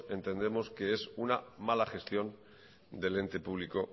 entendemos que es una mala gestión del ente público